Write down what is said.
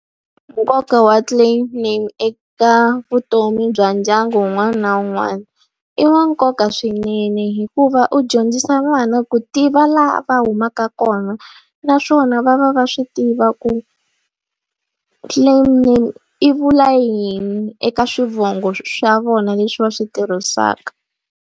Nkoka wa clan name eka vutomi bya ndyangu wun'wana na wun'wana, i wa nkoka swinene hikuva u dyondzisa vana ku tiva laha va humaka ka kona. Naswona va va va swi tiva ku claim name yi vula yini eka swivongo swa vona leswi va swi tirhisaka.